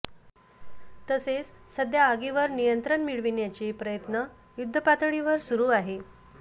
तसेच सध्या आगीवर नियंत्रण मिळविण्याचे प्रयत्न युद्धपातळीवर सुरु आहे